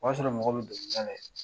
O y'a sɔrɔ mɔgɔ bɛ dɔnkili da la ye.